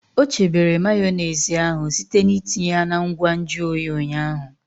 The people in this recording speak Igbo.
O chebere Mayonezi ahụ site n'itinye ya na ngwa nju oyi ụnyaahụ.